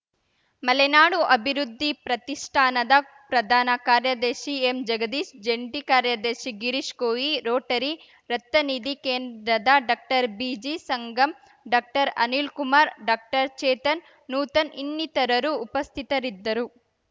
ಮಲೆನಾಡು ಅಭಿವೃದ್ಧಿ ಪ್ರತಿಷ್ಠಾನದ ಪ್ರಧಾನ ಕಾರ್ಯದರ್ಶಿ ಎಂಜಗದೀಶ್‌ ಜಂಟಿ ಕಾರ್ಯದರ್ಶಿ ಗಿರೀಶ್‌ ಕೋವಿ ರೋಟರಿ ರಕ್ತನಿಧಿ ಕೇಂದ್ರದ ಡಾಕ್ಟರ್ಬಿಜಿಸಂಗಮ್‌ ಡಾಕ್ಟರ್ ಅನಿಲ್ ಕುಮಾರ್‌ ಡಾಕ್ಟರ್ ಚೇತನ್‌ ನೂತನ್‌ ಇನ್ನಿತರರು ಉಪಸ್ಥಿತರಿದ್ದರು